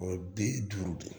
O ye bi duuru de ye